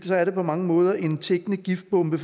er det på mange måder en tikkende giftbombe